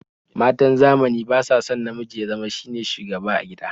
Matan zamani ba sa son namiji ya zama shine shugaba a gida